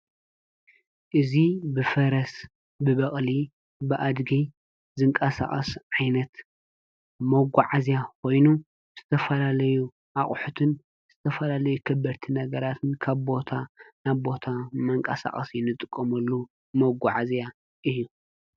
እዚ ብፈረስ ብበቕሊ ብኣድጊ ዘንቃሳቐስ ዓይነት መጓዓዚያ ኾይኑ ዝተፈላለዩ ኣቝሑትን ዝተፈላለዩ ከበድቲ ነገራትን ካብ ቦታ ናብ ቦታ መንቀሳቐሲ እንጥቀመሉ መጓዓዝያ እዩ።